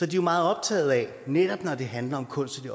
de meget optaget af netop når det handler om kunst i